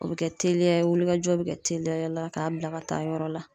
O be kɛ teliya ye wulikajɔ bi kɛ teliyayala k'a bila ka taa yɔrɔ la